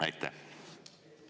Aitäh!